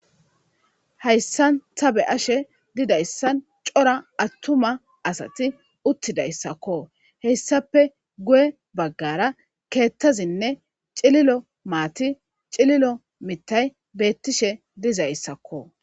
hayssan tabe ashe didayssan cora attuma asati uttidayssakko heyssape guye baggara keettazinne cililo maati cililo mittay beettishe dizayssakko